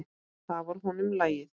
Það var honum lagið.